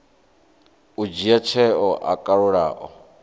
u dzhia tsheo yo kalulaho